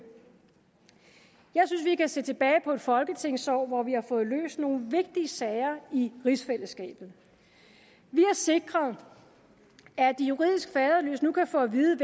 jeg synes vi kan se tilbage på et folketingsår hvor vi har fået løst nogle vigtige sager i rigsfællesskabet vi har sikret at de juridisk faderløse nu kan få at vide